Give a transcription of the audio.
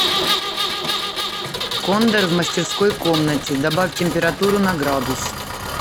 кондер в мастерской комнате добавь температуру на градус